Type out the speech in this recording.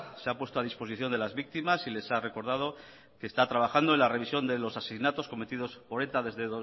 se ha puesto a disposición de las víctimas y les ha recordado que está trabajando en la revisión de los asesinatos cometidos por eta desde